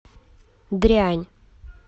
дрянь